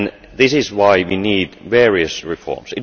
This is why we need various reforms.